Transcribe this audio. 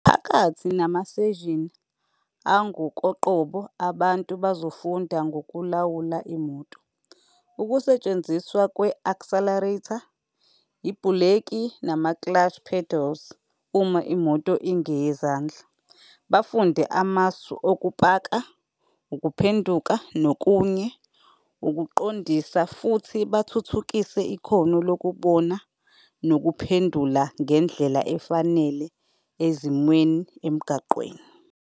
Phakathi namaseshini angokoqobo, abantu bazofunda ngokulawula imoto, ukusetshenziswa kwe-accelerator, ibhuleki, nama-clutch pedals, uma imoto ingeyezandla, bafunde amasu okupaka, ukuphenduka, nokunye ukuqondisa, futhi bathuthukise ikhono lokubona nokuphendula ngendlela efanele ezimweni. emgaqweni.